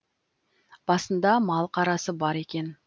басында мал қарасы бар екен